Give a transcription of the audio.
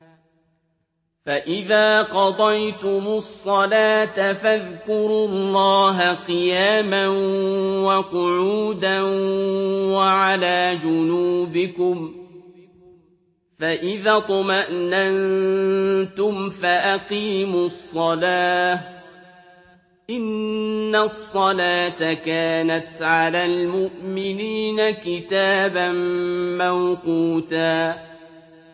فَإِذَا قَضَيْتُمُ الصَّلَاةَ فَاذْكُرُوا اللَّهَ قِيَامًا وَقُعُودًا وَعَلَىٰ جُنُوبِكُمْ ۚ فَإِذَا اطْمَأْنَنتُمْ فَأَقِيمُوا الصَّلَاةَ ۚ إِنَّ الصَّلَاةَ كَانَتْ عَلَى الْمُؤْمِنِينَ كِتَابًا مَّوْقُوتًا